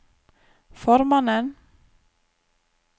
formannen